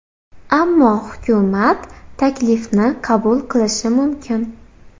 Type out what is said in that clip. Ammo hukumat taklifni qabul qilishi mumkin.